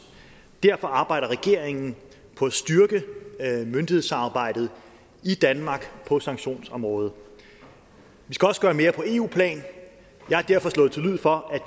derfor arbejder regeringen på at styrke myndighedssamarbejdet i danmark på sanktionsområdet vi skal også gøre mere på eu plan jeg har derfor slået til lyd for at